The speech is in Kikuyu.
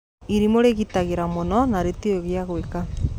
Irimũ rĩgĩtigĩra mũno na rĩtioĩ gĩa gwĩka.